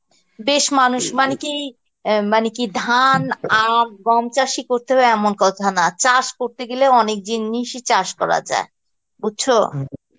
বেশ মানুষ মানে কি, মানে কি ধান, আঁখ, গম চাষ ই করতে হবে এমন কথা নয়, চাষ করতে গেলে অনেক জিনিসই চাষ করা যায়, বুঝছো